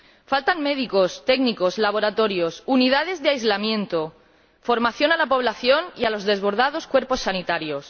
Faltan médicos, técnicos, laboratorios, unidades de aislamiento, formación a la población y a los desbordados cuerpos sanitarios.